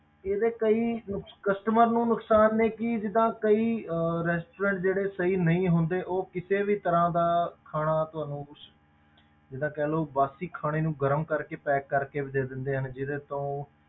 ਇਹਦੇ ਕਈ ਨੁਕਸ~ customer ਨੂੰ ਨੁਕਸਾਨ ਨੇ ਕਿ ਜਿੱਦਾਂ ਕਈ ਅਹ restaurant ਜਿਹੜੇ ਸਹੀ ਨਹੀਂ ਹੁੰਦੇ ਉਹ ਕਿਸੇ ਵੀ ਤਰ੍ਹਾਂ ਦਾ ਖਾਣਾ ਤੁਹਾਨੂੰ ਉਸ ਜਿੱਦਾਂ ਕਹਿ ਲਓ ਬਾਸੀ ਖਾਣੇ ਨੂੰ ਗਰਮ ਕਰਕੇ pack ਕਰਕੇ ਵੀ ਦੇ ਦਿੰਦੇ ਆ ਜਿਹਦੇ ਤੋਂ